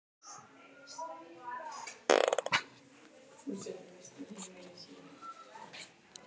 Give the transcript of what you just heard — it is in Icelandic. Margir reyna að bæta sér það upp með lyfjagjöf.